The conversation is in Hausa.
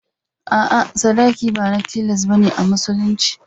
A'a, sadaki ba na tilas ba ne a Musulunci.